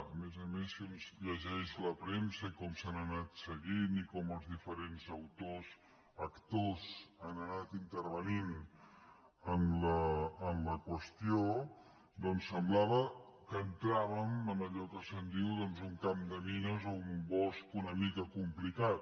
a més a més si un llegeix la premsa i com s’han anat seguint i com els diferents actors han anat intervenint en la qüestió doncs semblava que entrà·vem en allò que se’n diu doncs un camp de mines o un bosc una mica complicat